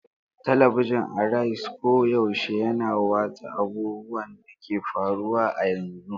Talabijin Araiz koyaushe yana watsa abubuwan da ke faruwa a yanzu.